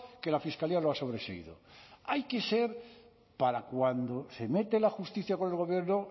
que la fiscalía lo ha sobreseído hay que ser para cuando se mete la justicia con el gobierno